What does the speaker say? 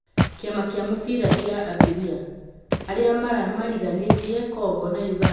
Kĩ ama kĩ a mũbira kĩ a Abiria: arĩ a mariganĩ tie Kongo na ũganda kung'ethanĩ ra Jumamwothi.